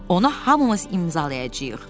Onu hamımız imzalayacağıq.